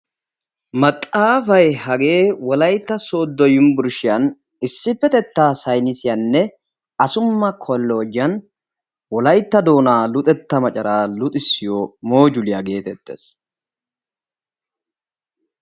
maxaafay hagee wolaytta soodo yunbburshiyan issipetettaa saynnisiyaninne assuma doonaa luxxisiyo mooduliya geetettees.